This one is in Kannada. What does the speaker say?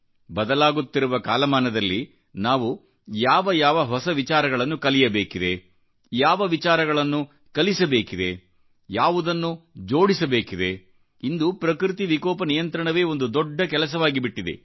ಬದಲಾಗುತ್ತಿರುವ ಕಾಲಮಾನದಲ್ಲಿ ನಾವು ಯಾವ ಯಾವ ಹೊಸ ವಿಚಾರಗಳನ್ನು ಕಲಿಯಬೇಕಿದೆಯಾವ ವಿಚಾರಗಳನ್ನು ಕಲಿಸಬೇಕಿದೆಯಾವುದನ್ನು ಜೋಡಿಸಬೇಕಿದೆಇಂದು ಪ್ರಕೃತಿ ವಿಕೋಪ ನಿಯಂತ್ರಣವೇ ಒಂದು ದೊಡ್ಡ ಕೆಲಸವಾಗಿಬಿಟ್ಟಿದೆ